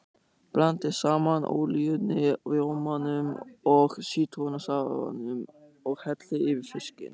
Blandið saman olíunni, rjómanum og sítrónusafanum og hellið yfir fiskinn.